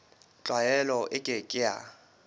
tlwaelo e ke ke ya